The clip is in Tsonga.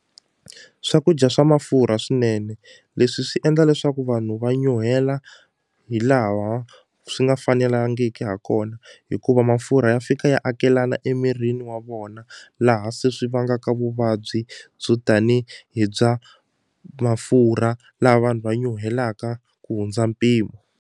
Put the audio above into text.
Swakudya swa mafurha swinene leswi swi endla leswaku vanhu va nyuhela hi laha swi nga fanelangiki ha kona hikuva mafurha ya fika ya akelana emirini wa vona laha se swi vangaka vuvabyi byo tani hi bya mafurha laha vanhu va nyuhelaka ku hundza mpimo.